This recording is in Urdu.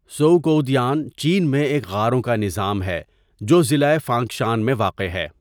ژؤکؤدیان چین میں ایک غاروں کا نظام ہے جو ضلع فانگشان میں واقع ہے.